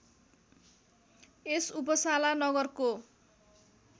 यस Uppsala नगरको